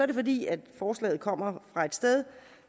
det fordi forslaget kommer fra et sted